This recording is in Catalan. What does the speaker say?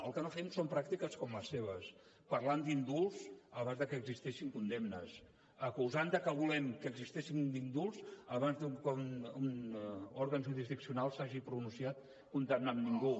el que no fem són pràctiques com les seves parlant d’indults abans de que existeixin condemnes acusant de que volem que existeixin indults abans de que un òrgan jurisdiccional s’hagi pronunciat condemnant ningú